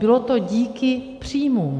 Bylo to díky příjmům.